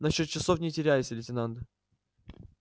насчёт часов не теряйся лейтенант